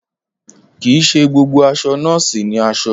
Kì í ṣe gbogbo aṣọ nọ́ọ̀sì ni aṣọ